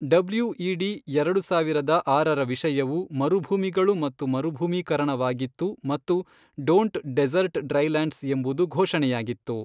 WED ಎರಡು ಸಾವಿರದ ಆರರ ವಿಷಯವು ಮರುಭೂಮಿಗಳು ಮತ್ತು ಮರುಭೂಮೀಕರಣವಾಗಿತ್ತು ಮತ್ತು ಡೋಂಟ್ ಡೆಸರ್ಟ್ ಡ್ರೈ ಲ್ಯಾಂಡ್ಸ್ ಎಂಬುದು ಘೋಷಣೆಯಾಗಿತ್ತು.